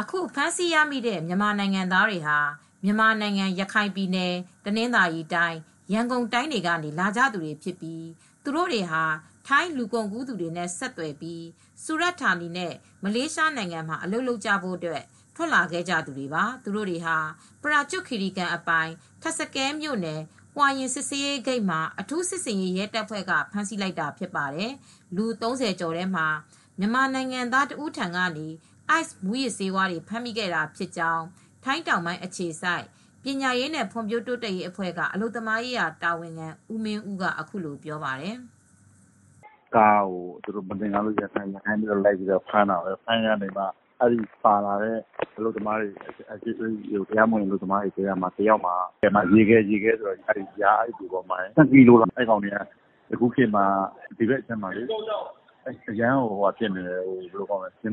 အခုဖမ်းဆီးရမိတဲ့ မြန်မာနိုင်ငံသားတွေဟာ မြန်မာနိုင်ငံ ရခိုင် ပြည်နယ်၊ တနသာၤရီတိုင်း၊ ရန်ကုန်တိုင်းတွေကနေ လာကြသူတွေဖြစ်ပြီး သူတို့တွေဟာ ထိုင်း လူကုန်ကူးသူတွေနဲ့ ဆက်သွယ်ပြီး စူရဌာနီနဲ့ မလေးရှားနိုင်ငံမှာ အလုပ်လုပ်ကြဖို့ ထွက်လာခဲ့ကြတဲ့သူတွေပါ။ သူတို့တွေကိုတော့ ပရာကျွတ်ခီရီကန် အပိုင် ထပ်စကဲမြို့နယ် Huai Yang စစ်ဆေးရေးဂိတ်မှာ အထုူး စစ်ဆေးရေး ရဲတပ်ဖွဲ့က ဖမ်းဆီးလိုက်တာ ဖြစ်ပါတယ်။ လူ ၃၀ ကျော်ထဲမှာ မြန်မာနိုင်ငံသား တဦးထံကနေ Ice မူးယစ်ဆေးတွေပါ ဖမ်းမိခဲ့တာဖြစ်ကြောင်း ထိုင်းတောင်ပိုင်း အခြေစိုက် ပညာရေးနဲ့ ဖွံ့ဖြိုးတိုးတက်ရေး အဖွဲ့က အလုပ်သမားရေး တာဝန်ခံ ဦးမင်းဦးက အခုလိုပြောပြပါတယ်။ “ ကားကို သူတို့က မသင်္ကာလို့လိုက်ဖမ်းတာ။ ဖမ်းရင်းနဲ့ ပါလာတဲ့ အလုပ်သမားတွေထဲက တယောက်မှာ ရေခဲလို့ခေါ်တဲ့ (အိုက်စ်) ၂ ကီလိုတောင်ပါတယ်။ အခုခေတ်မှာ ဒီဘက်ခြမ်းမှာ မြန်မာတွေ အတော်များ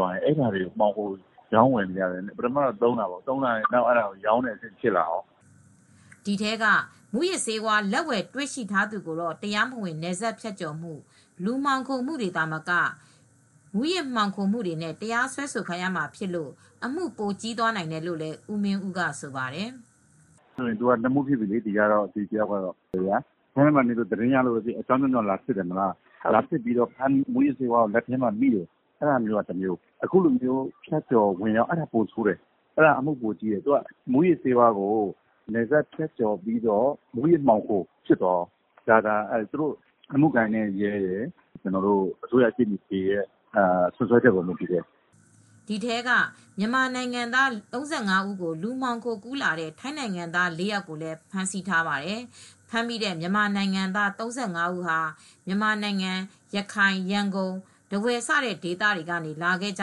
များက မှောင်ခိုရောင်းဝယ်နေတယ်။ ပထမတော့ သုံးရာကနေ ရောင်းဝယ်တာတွေဖြစ်လာတယ်။ ” ဒီထဲက မူးယစ်ဆေးဝါး လက်ဝယ်တွေ့ရှိထားသူကိုတော့ တရားမဝင်နယ်စပ်ဖြတ်ကျော်မှု၊ လူမှောင်ခိုမှုတွေ သာမက မူူးယစ်မှောင်ခိုမှုတွေနဲ့ တရားစွဲဆိုခံရမှာဖြစ်လို့အမှု ပိုကြီးနိုင်တယ်လို့လည်း ဦးမင်းဦးက ဆိုပါတယ်။ “ သူကနှစ်မှု ဖြစ်ပြီလေ။ ဒီတယောက်ကတော့ ထိုင်းထဲမှာနေလို့သတင်းရလို့ လာစစ်ရင်း မူးယစ်ဆေးဝါးကို သုံးရင်းနဲ့ မိတာက တမျိုးလေ။ အခုက အမှုကပိုကြီးတယ်။ မူးယစ်ဆေးဝါးကို နယ်စပ်ဖြတ်ကျော်ပြီး ဝင်လာတယ်ဆိုရင် မူးယစ်မှောင်ခိုမှု ဖြစ်သွားတယ်။ ဒီအမှု ကတော့ အမှုကိုင်တဲ့ ရဲရယ်၊ အစိုးရရှေ့နေတွေရဲ့ စွပ်စွဲချက် အပေါ် မူတည်တယ်။ ” ဒီထဲက မြန်မာနိုင်ငံသား ၃၅ ဦးကို လူမှောင်ခိုကူးလာတဲ့ ထိုင်းနိုင်ငံသား ၄ aယာက်ကိုလည်း ဖမ်းဆီးထားပါတယ်။ ဖမ်းမိ မြန်မာနိုငံသား ၃၅ ဦးဟာ မြန်မာနိုင်ငံ ရခိုင်၊ ရန်ကုန်၊ ထားဝယ်စတဲ့ ဒေသတွေကနေ လာခဲ့ကြ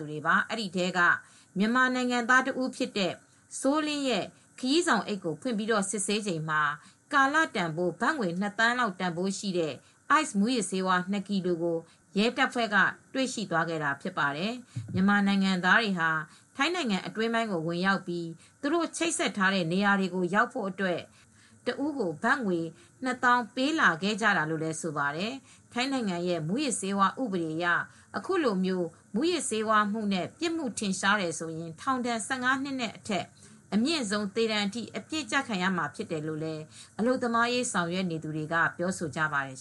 တာပါ။ အဲဒီထဲက မြန်မာနိုင်ငံသား တဦးဖြစ်တဲ့ စိုးလင်းရဲ့ ခရီးဆောင်အိတ်ကို ဖွင့်ပြီး စစ်ဆေးစဉ်မှာ ကာလတန်ဖိုး ဘတ်ငွေ နှစ်သန်းလောက် တန်ဖိုးရှိတဲ့ Ice မူးယစ်ဆေး ၂ ကီလို ကို ရဲတပ်ဖွဲ့က တွေ့ရှိသွားခဲ့တာဖြစ်ပါတယ်။ မြန်မာနိုင်ငံသားတွေဟာ ထိုင်းနိုင်အတွင်း ဝင်ရောက်ပြီး သူတို့ချိတ်ဆက်ထားတဲ့ နေရာတွေကို ရောက်ဖို့အတွက် တဦးကို ဘတ်ငွေ ၂၀၀၀၀ ပေးလာခဲ့ကြတာလို့ ဆိုပါတယ်။ ထိုင်းနိုင်ငံရဲ့မူးယစ်ဆေးဝါး ဥပဒေအရ အခုလို မူးယစ်ဆေးဝါးမှုနဲ့ ပြစ်မှု ထင်ရှားတယ်ဆိုရင် ထောင်ဒဏ် ၁၅ နှစ်အထက်နဲ့ အမြင့်ဆုံး သေဒဏ်အထိ အပြစ်ကျခံရမှာဖြစ်တယ်လို့ အလုပ်သမားရေး ဆောင်ရွက်နေသူတွေက ပြောဆိုကြပါတယ်